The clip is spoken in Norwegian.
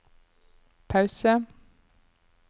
pause